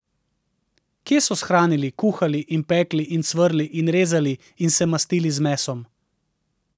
Kje so shranili, kuhali in pekli in cvrli in rezali in se mastili z mesom?